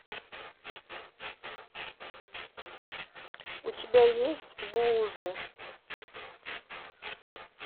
у тебя есть буузы